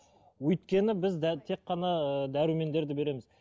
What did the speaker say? өйткені біз тек қана ыыы дәрумендерді береміз